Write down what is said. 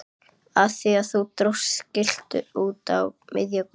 Af því að þú dróst skiltið út á miðja götu!